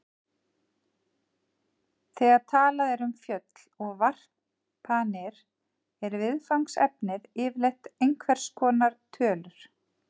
Þegar talað er um föll og varpanir er viðfangsefnið yfirleitt einhvers konar tölur.